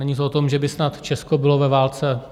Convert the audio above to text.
Není to o tom, že by snad Česko bylo ve válce.